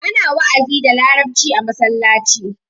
Ana wa'azi da larabci a masallaci.